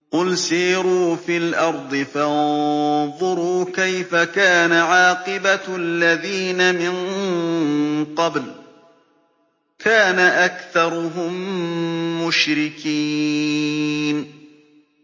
قُلْ سِيرُوا فِي الْأَرْضِ فَانظُرُوا كَيْفَ كَانَ عَاقِبَةُ الَّذِينَ مِن قَبْلُ ۚ كَانَ أَكْثَرُهُم مُّشْرِكِينَ